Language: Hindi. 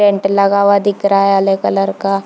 पेंट लगा हुआ दिख रहा है हरे कलर का --